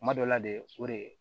Kuma dɔ la de o de